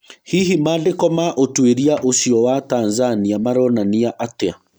Hihi mandĩko ma ũtwĩria ũcio wa Tanzania maronania atĩa?